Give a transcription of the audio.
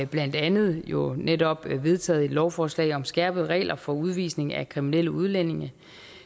blandt andet jo netop vedtaget et lovforslag om skærpede regler for udvisning af kriminelle udlændinge